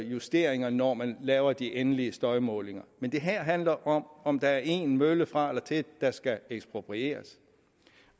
justeringer når man laver de endelige støjmålinger men det handler altså om om der er en mølle fra eller til der skal eksproprieres